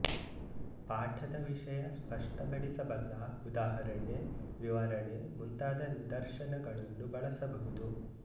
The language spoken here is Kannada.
ಪಾಠದ ವಿಷಯ ಸ್ಪಷ್ಟಪಡಿಸಬಲ್ಲ ಉದಾಹರಣೆ ವಿವರಣೆ ಮುಂತಾದ ನಿದರ್ಶನಗಳನ್ನೂ ಬಳಸಬಹುದು